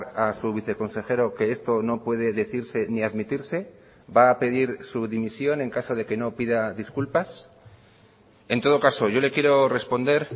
a su viceconsejero que esto no puede decirse ni admitirse va a pedir su dimisión en caso de que no pida disculpas en todo caso yo le quiero responder